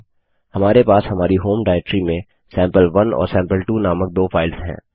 हमारे पास हमारी होम डाइरेक्टरी में सैंपल1 और सैंपल2 नामक दो फाइल्स हैं